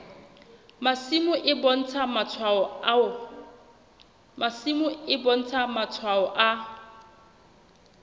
masimo e bontsha matshwao a